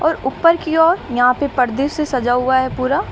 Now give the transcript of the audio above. और ऊपर की ओर यहां पे पर्दे से सजा हुआ है पूरा।